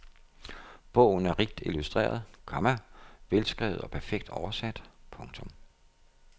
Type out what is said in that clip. Bogen er rigt illustreret, komma velskrevet og perfekt oversat. punktum